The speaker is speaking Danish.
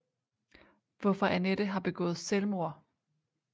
Hvorfor annette har begået selvmord